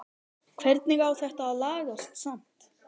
Hvernig á þetta að lagast samt??